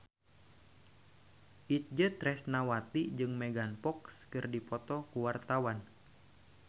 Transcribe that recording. Itje Tresnawati jeung Megan Fox keur dipoto ku wartawan